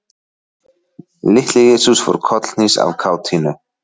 Litli-Jesús fór kollhnís af kátínu.